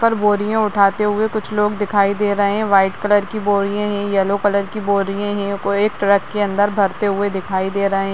पर बोरिया उठाते हुए कुछ लोग दिखाई दे रहे हैं व्हाइट कलर की बोरिये हैं येलो कलर की बोरिये हैं कोई एक ट्रक के अंदर भरते हुए दिखाई दे रहें।